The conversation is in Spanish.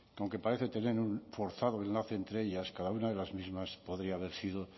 aunque parece tener un forzado enlace entre ellas cada una de las mismas podría haber sido